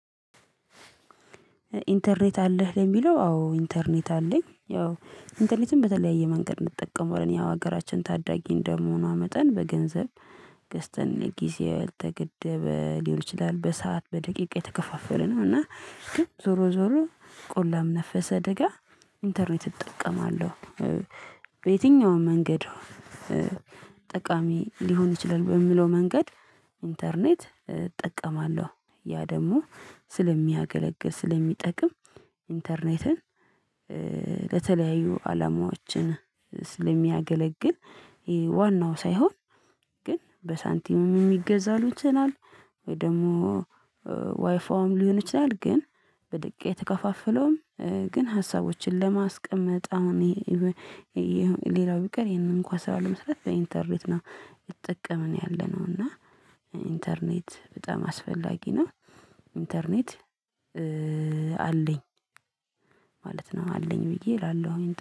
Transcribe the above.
ኢንተርኔት አለህ ለሚለው አዎ ኢንተርኔት አለኝ ያው ኢንተርኔት በተለያየ መንገድ እንጠቀመዋለን ያው ሀገራችን ታዳጊ እንደመሆኗ መጠን በገንዘብ ገዝተን ጊዜ የተገደበ ሊሆን ይችላል በሰአት በደቂቃ የተከፋፈለ ነው እና ግን ዞሮ ዞሮ ቆላም ነፈሰ ደጋ ኢንተርኔት እጠቀማለሁ። በየትኛውም መንገድ ጠቃሚ ሊሆን ይችላል በሚለው መንገድ። ኢንተርኔት እጠቀማለሁ ያ ደግሞ ስለሚያገለግል ስለሚጠቅም ኢንተርኔትን ለተለያዩ አላማዎችን ስለሚያገለግል ዋናው ሳይሆን ግን በሳንቲሙም የሚገዛሉ ቻናል ወይ ደግሞ ዋይፋውም ሊሆን ይችላል። ግን በደቂቃ የተከፋፈለውም ግን ሀሳቦችን ለማስቀመጥ አሁን ሌላው ቢቀር ይሄንን እንኳን ስራ ለመስራት በኢንተርኔት ነው እየተጠቀምን ነው ያለነው። እና ኢንተርኔት በጣም አስፈላጊ ነው። ኢንተርኔት አለኝ ማለት ነው። አለኝ ብዬ እላለሁ